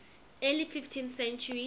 early fifteenth century